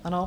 Ano.